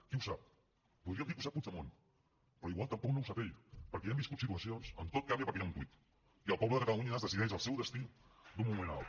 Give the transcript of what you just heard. qui ho sap podríem dir que ho sap puigdemont però igual tampoc no ho sap ell perquè ja hem viscut situacions on tot canvia perquè hi ha un tuit i al poble de catalunya es decideix el seu destí d’un moment a l’altre